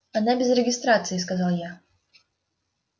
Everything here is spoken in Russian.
она без регистрации сказал я